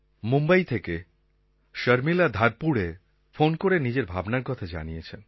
মুম্বই থেকে শর্মিলা ধারকুড়ে ফোন করে নিজের ভাবনার কথা জানিয়েছেন